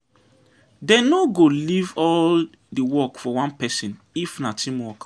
Dey no go leave all di work for one pesin if na teamwork.